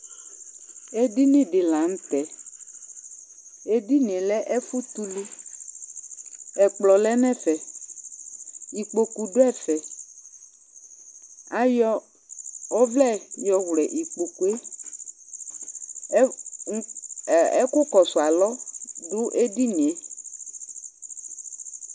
édịnị dɨ lăṅtẽ edinié lɛ ɛfũtũlũ ɛkplõ lɛ nẽfɛ ïkpókũ du ẽfɛ ayõ õvlẽ yõwlẽ ĩkpokụé hev ɛku kõsualõv du edïnié